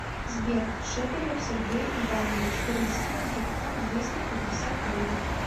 сбер шепелев сергей иванович перевести на телефон двести пятьдесят рублей